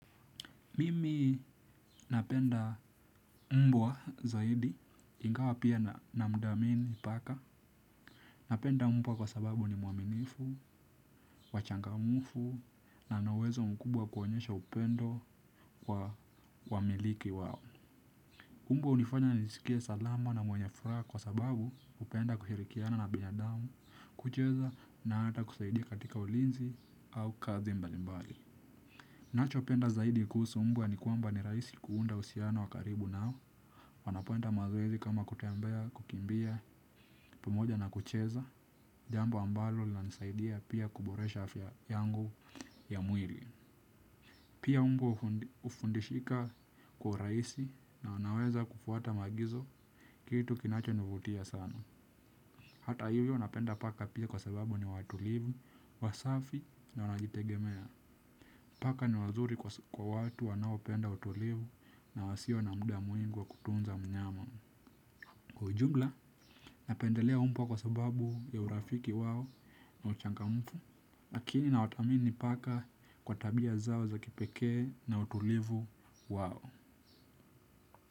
Mimi napenda mbwa zaidi ingawa pia na mdhamini paka. Napenda mbwa kwa sababu ni mwaminifu, wachangamufu na nawezo mkubwa kuwanyesha upendo kwa wamiliki wao. Mbwa unifanya na nisikie salama na mwenye furaha kwa sababu upenda kuhirikiana na binadamu, kucheza na ata kusaidia katika ulinzi au kazi mbalimbali. Nacho penda zaidi kuhusu mbwa ni kwamba ni rahisi kuunda uhusiano wa karibu nao. Wanapoenda mazoezi kama kutembea, kukimbia, pamoja na kucheza, jambo ambalo linanisaidia pia kuboresha afya yangu ya mwili. Pia mbwa ufundishika kwa uraisi na wanaweza kufuata maagizo kitu kinacho nivutia sana. Hata hivyo napenda paka pia kwa sababu ni watulivu, wasafi na wanajitegemea. Paka ni wazuri kwa watu wanaopenda utulivu na wasio na muda mwingi wa kutunza mnyama. Kwa ujumla, napendelea umbwa kwa sababu ya urafiki wao na uchangamfu, lakini na watamini paka kwa tabia zao za kipekee na utulivu wao.